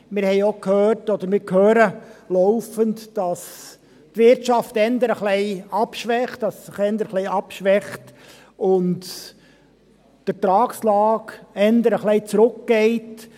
Wir haben auch gehört und hören laufend, dass die Wirtschaft eher ein wenig abschwächt, dass sie sich eher abschwächt und die Ertragslage eher ein wenig zurückgeht.